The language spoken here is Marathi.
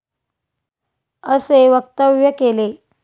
असे वक्तव्य केले.